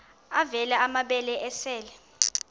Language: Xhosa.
avela amabele esel